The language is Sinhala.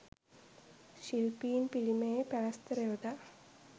ශිල්පීන් පිළිමයේ පැලැස්තර යොදා